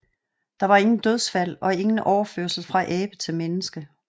Der var ingen dødsfald og ingen overførsel fra abe til menneske